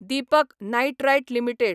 Deepak nitrite limited